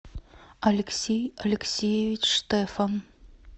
алексей алексеевич штефан